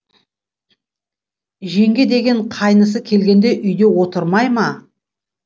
жеңге деген қайнысы келгенде үйде отырмай ма